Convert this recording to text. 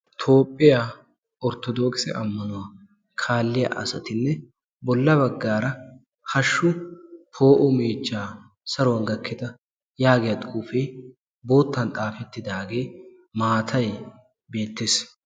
toophphiyaa orttodookisse ammanuwaa kaalliya asatinne bolla baggaara hashshu poo'o meechchaa saruwan gakkida yaagiya xuufee boottan xaafettidaagee maatay beettees